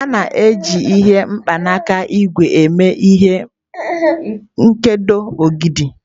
A na-eji mkpanaka ígwè eme ihe nkedo ogidi.